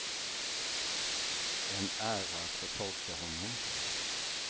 En ära att få tolka honom.